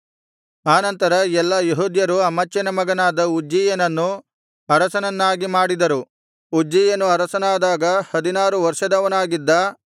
ಆನಂತರ ಎಲ್ಲಾ ಯೆಹೂದ್ಯರು ಅಮಚ್ಯನ ಮಗನಾದ ಉಜ್ಜೀಯನನ್ನು ಅರಸನ್ನನ್ನಾಗಿ ಮಾಡಿದರು ಉಜ್ಜೀಯನು ಅರಸನಾದಾಗ ಹದಿನಾರು ವರ್ಷದವನಾಗಿದ್ದ